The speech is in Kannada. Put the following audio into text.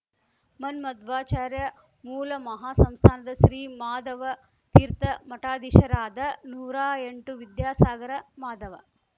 ಮನ್ಮಧ್ವಾಚಾರ್ಯ ಮೂಲಮಹಾ ಸಂಸ್ಥಾನದ ಶ್ರೀ ಮಾಧವ ತೀರ್ಥ ಮಠಾಧೀಶರಾದ ನೂರಾಎಂಟು ವಿದ್ಯಾಸಾಗರ ಮಾಧವ